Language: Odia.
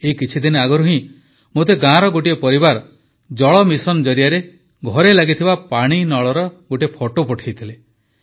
ଏଇ କିଛି ଦିନ ଆଗରୁ ହିଁ ମୋତେ ଗାଁର ଗୋଟିଏ ପରିବାର ଜଳ ଜୀବନ ମିଶନ ଜରିଆରେ ଘରେ ଲାଗିଥିବା ପାଣିନଳର ଏକ ଫଟୋ ପଠାଇଥିଲେ